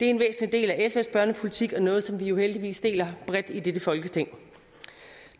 en væsentlig del af sfs børnepolitik og noget som vi jo heldigvis deler bredt i dette folketing